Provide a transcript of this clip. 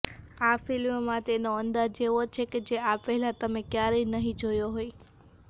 આ ફિલ્મમાં તેનો અંદાજ એવો છે કે જે આ પહેલાં તમે ક્યારેય નહીં જોયો હોય